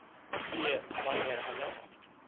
b wanneer hulle